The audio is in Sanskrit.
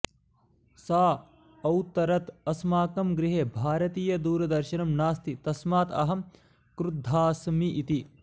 सा औत्तरत् अस्माकं गृहे भारतीयदूरदर्शनं नास्ति तस्मात् अहं क्रुद्धास्मि इति